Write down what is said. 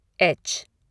H